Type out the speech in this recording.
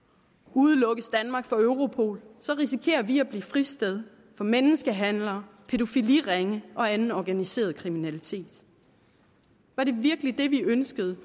udelukkes danmark fra europol risikerer vi at blive fristed for menneskehandlere pædofiliringe og anden organiseret kriminalitet var det virkelig det vi ønskede